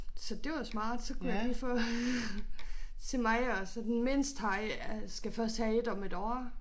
Så det var smart så kunne jeg lige få til mig og så den mindste har skal først have et om 1 år